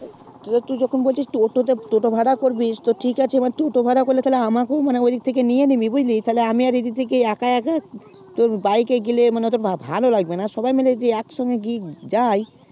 তুই একটু যখন বলছিস টোটো তে টোটো ভাড়া করবি তো ঠিকআছে এবার টোটো ভাড়া করলে তাহলে আমাকে ও মানে ঐসাথে নিয়ে নিবি বুঝলি তাহলে আমি আর ই দিক থেকি এক এক bike এ গেলে ভালো লাগবেনা সবাই মিলি যদি একসাথে যাই